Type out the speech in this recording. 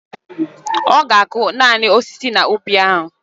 Oga aku nani osisi na ubi a.